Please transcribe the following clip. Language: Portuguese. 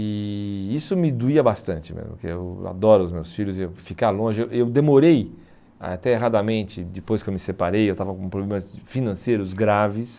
E e isso me doía bastante mesmo, porque eu adoro os meus filhos e eu ficar longe, eu eu demorei até erradamente depois que eu me separei, eu estava com problemas financeiros graves.